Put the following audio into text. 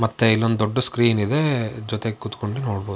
ಮತ್ತೆ ಇಲ್ಲೊಂದು ದೊಡ್ಡ ಸ್ಕ್ರೀನ್ ಇದೆ ಜೊತೆಗೆ ಕೂತ್ಕೊಂಡು ನೋಡ್ --